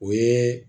O ye